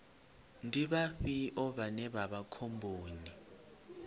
ndi vhafhio vhane vha vha khomboni